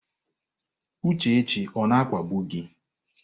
Uchechi ọ na-akpagbu gị?